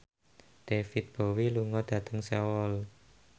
David Bowie lunga dhateng Seoul